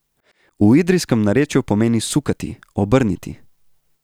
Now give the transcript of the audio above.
V idrijski narečju pomeni sukati, obrniti.